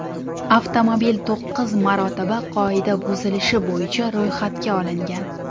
Avtomobil to‘qqiz marotaba qoida buzilishi bo‘yicha ro‘yxatga olingan.